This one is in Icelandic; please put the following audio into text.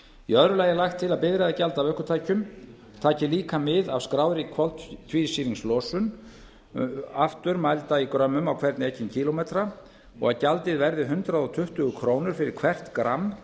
í öðru lagi er lagt til að bifreiðagjald af ökutækjum taki líka mið af skráðri koltvísýringslosun ökutækis aftur mælda í grömmum á hvern ekinn kílómetra og að gjaldið verði hundrað tuttugu krónur fyrir hvert gramm